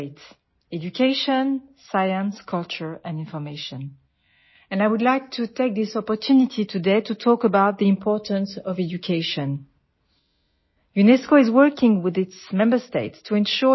വിദ്യാഭ്യാസം ശാസ്ത്രം സംസ്കാരം വിജ്ഞാനം എന്നിവയുടെ എല്ലാ മേഖലകളിലും നമുക്ക് വളരെ ശക്തമായ പങ്കാളിത്തമുണ്ട് വിദ്യാഭ്യാസത്തിന്റെ പ്രാധാന്യത്തെക്കുറിച്ച് സംസാരിക്കാൻ ഇന്ന് ഈ അവസരം വിനിയോഗിക്കാൻ ഞാൻ ആഗ്രഹിക്കുന്നു